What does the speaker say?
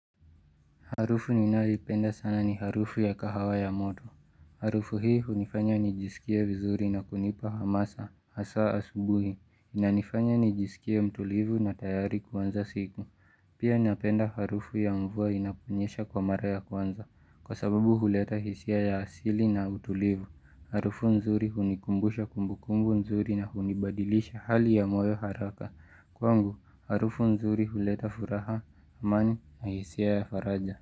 Harufu ninayoipenda sana ni harufu ya kahawa ya moto. Harufu hii hunifanya nijisikie vizuri na kunipa hamasa hasa asubuhi. Inanifanya nijisikie mtulivu na tayari kuanza siku. Pia napenda harufu ya mvua inaponyesha kwa mara ya kwanza kwa sababu huleta hisia ya asili na utulivu. Harufu nzuri hunikumbusha kumbukumbu nzuri na hunibadilisha hali ya moyo haraka. Kwangu, harufu nzuri huleta furaha, amani na hisia ya faraja.